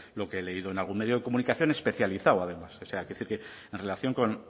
lo que he leído en algún medio de comunicación especializado además o sea quiero decir que en relación con